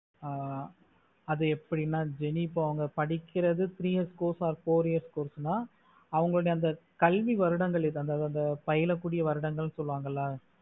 அது எப்படின்னு jeni அவங்க படிக்கறது three years or four years course தா அவங்களோடயே கல்வி வருடங்கள் அதை பயணகுடிய வருடங்கள் னு சொல்லுவாங்களா